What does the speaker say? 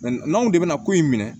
n'anw de bɛna ko in minɛ